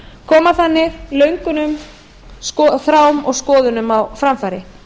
koma þannig löngunum þrám og skoðunum á framfæri